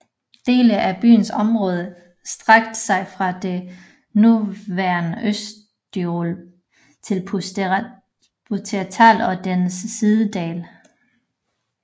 Dele af byens område strakte sig fra det nuværende østtyrol til Pustertal og dens sidedale